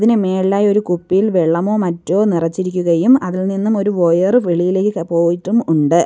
ഇതിന്റെ മേളിലായി ഒരു കുപ്പിയിൽ വെള്ളമോ മറ്റോ നിറച്ചിരിക്കുകയും അതിൽനിന്നും ഒരു വയർ വെളിയിലേക്ക് പോയിട്ടും ഉണ്ട്.